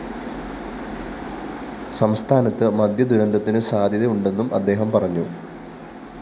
സംസ്ഥാനത്ത് മദ്യദുരന്തത്തിന് സാധ്യതയുണ്ടെന്നും അദ്ദേഹം പറഞ്ഞു